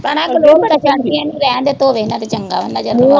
ਭੈਣਾਂ ਗਲੋਂ ਬੜਾ ਰਹਿਣ ਦੇ ਧੋਵੈ ਨਾ ਤੇ ਚੰਗਾ ਆ ਨਜ਼ਰ